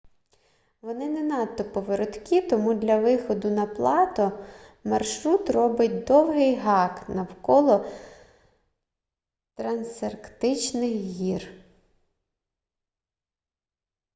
вони не надто повороткі тому для виходу на плато маршрут робить довгий гак навколо трансарктичних гір